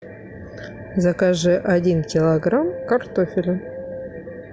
закажи один килограмм картофеля